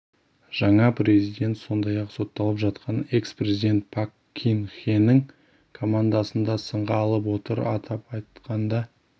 жаңа президент сондай-ақ сотталып жатқан экс-президент пак кын хенің командасын да сынға алып отыр атап айтқанда